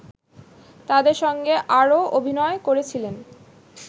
তাদের সঙ্গে আরও অভিনয় করেছিলেন